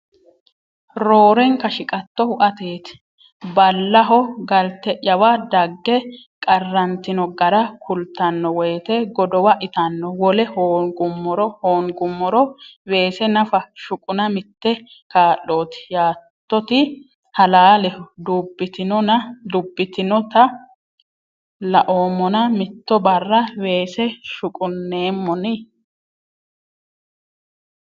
Roorenka shiqattohu ateeti. Ballaho galte’yawa dagge qarrantino gara kultanno woyte godowa ittanno Wole hoongummoro weese nafa shuquna mitte kaa’looti Yaattoti halaaleho Dubbitinonta laoommona mitto barra weesese shuqunneemmonni?